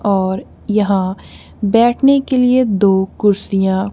और यहां बैठने के लिए दो कुर्सियां--